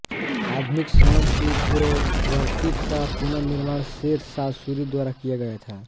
आधुनिक सड़क की पूर्ववर्ती का पुनःनिर्माण शेर शाह सूरी द्वारा किया गया था